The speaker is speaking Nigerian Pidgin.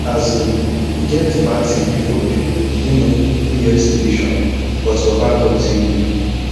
um e get bad thing wey for do um me yesterday um but baba god save me